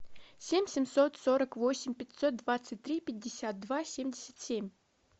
семь семьсот сорок восемь пятьсот двадцать три пятьдесят два семьдесят семь